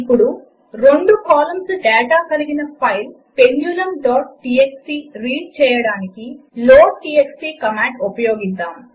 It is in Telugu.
ఇప్పుడు రెండు కాలమ్ల డాటా కలిగిన ఫైల్ pendulumటీఎక్స్టీ రీడ్ చేయడానికి లోడ్టీఎక్స్టీ కమాండ్ ఉపయోగిద్దాము